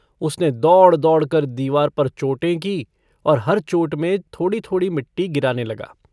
उसने दौड़-दौड़कर दीवार पर चोटें कीं और हर चोट में थोड़ी-थोड़ी मिट्टी गिराने लगा।